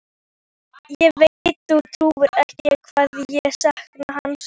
Ég veit þú trúir ekki hvað ég sakna hans.